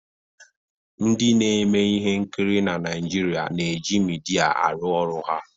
ndị na-emeihe nkiri na Naijiria na-eji midia aru oru ha